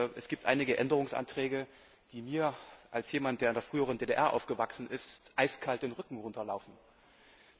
Es gibt einige Änderungsanträge, die es mir als jemandem, der in der früheren DDR aufgewachsen ist eiskalt den Rücken runterlaufen lassen.